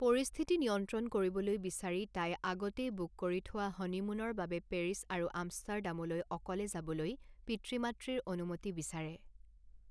পৰিস্থিতি নিয়ন্ত্ৰণ কৰিবলৈ বিচাৰি তাই আগতেই বুক কৰি থোৱা হনিমুনৰ বাবে পেৰিছ আৰু আমষ্টাৰডামলৈ অকলে যাবলৈ পিতৃ মাতৃৰ অনুমতি বিচাৰে।